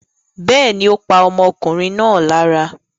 Bẹ́ẹ̀ ni, ó pa ọmọkùnrin náà lára.